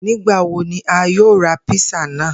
Nigbawo ni a yoo ra písà naa?